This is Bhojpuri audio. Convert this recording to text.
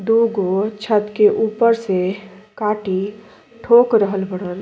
दो गो छत के ऊपर से काटी ठोक रहल हउवन।